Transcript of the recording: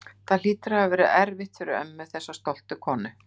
Það hlýtur að hafa verið erfitt fyrir ömmu, þessa stoltu konu.